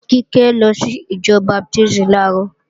Kíkẹ́ lọ sí ìjọ Baptísì làárọ̀